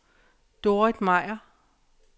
Dorrit Meier